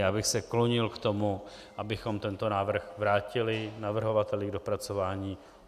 Já bych se klonil k tomu, abychom tento návrh vrátili navrhovateli k dopracování.